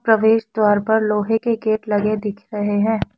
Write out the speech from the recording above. प्रवेश द्वार पर लोहे के गेट लगे दिख रहे हैं।